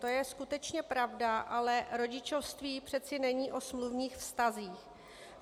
To je skutečně pravda, ale rodičovství přece není o smluvních vztazích.